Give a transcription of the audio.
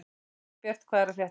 Gunnbjört, hvað er að frétta?